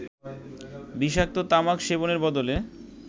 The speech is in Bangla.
বিষাক্ত তামাক সেবনের বদলে